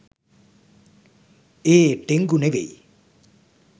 ඒ dengue නෙවෙයි